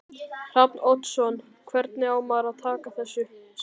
Hrafn Oddsson Hvernig á maður að taka þessu?